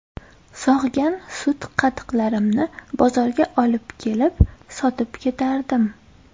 Sog‘gan sut-qatiqlarimni bozorga olib kelib, sotib ketardim.